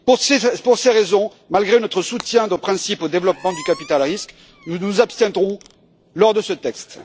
Pour ces raisons, malgré notre soutien de principe au développement du capital risque, nous nous abstiendrons sur ce texte.